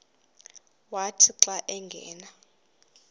wathi xa angena